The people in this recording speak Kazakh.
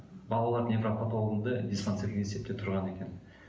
балалар невропатологінде диспансерлік есепте тұрған екен